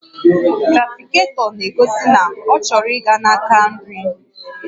Trafiketọ na-egosi na ọ chọrọ ịga na-aka nri